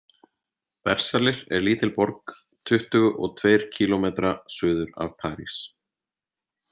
Versalir er lítil borg tuttugu og tveir kílómetra suður af París.